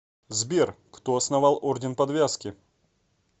сбер кто основал орден подвязки